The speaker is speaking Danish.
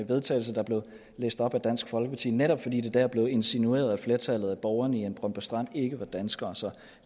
vedtagelse der blev læst op af dansk folkeparti netop fordi det dér blev insinueret at flertallet af borgerne i brøndby strand ikke var danskere så